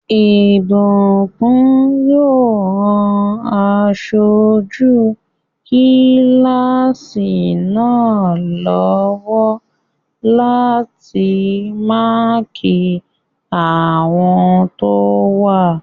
Ìbùkún yóò ran aṣojú kílásì náà lọ́wọ́ láti máàkí àwọn tó wá